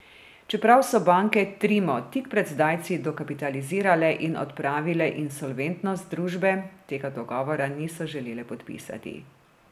Čeprav so banke Trimo tik pred zdajci dokapitalizirale in odpravile insolventnost družbe, tega dogovora niso želele podpisati.